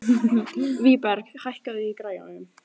Vígberg, hækkaðu í græjunum.